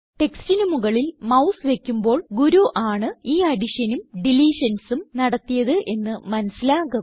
ടെക്സ്റ്റിന് മുകളിൽ മൌസ് വയ്ക്കുമ്പോൾ ഗുരു ആണ് ഈ additionനും deletionsനും നടത്തിയത് എന്ന് മനസിലാകും